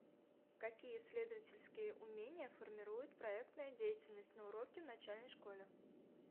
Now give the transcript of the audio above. какие исследовательские умения формирует проектная деятельность на уроке в начальной школе